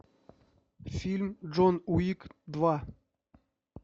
фильм джон уик два